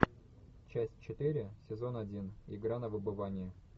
часть четыре сезон один игра на выбывание